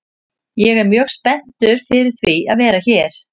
Ég er mjög spenntur fyrir því að vera hér.